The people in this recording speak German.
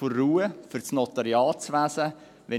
Das hat der Kommissionssprecher auch schon angeführt.